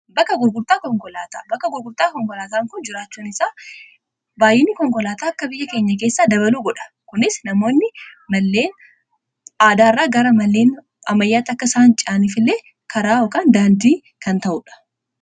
Bakka gurgurtaa konkolaa, bakki gurgurtaa konkolaataan kun jiraachuun isaa baayyinni konkolaataa akka biyya keenya keessaa dabaluu godha. Kunis namoonni malleen aadaarraa gara malleen ammayyaatti akka isaan ce'an kan godhudha.